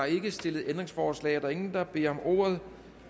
ikke stillet ændringsforslag og der er ingen der beder om ordet